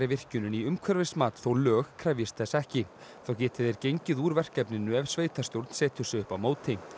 virkjunin í umhverfismat þó lög krefjist þess ekki þá geti þeir gengið úr verkefninu ef sveitarstjórn setur sig upp á móti